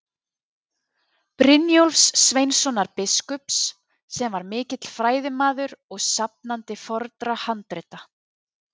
Brynjólfs Sveinssonar biskups, sem var mikill fræðimaður og safnandi fornra handrita.